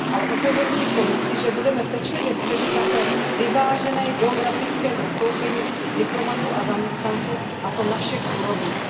Ale upozorňuji Komisi, že budeme pečlivě střežit také vyvážené geografické zastoupení diplomatů a zaměstnanců, a to na všech úrovních.